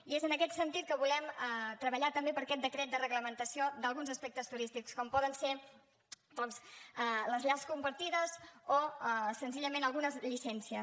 i és en aquest sentit que volem treballar també per aquest decret de reglamentació d’alguns aspectes turístics com poden ser doncs les llars compartides o senzillament algunes llicències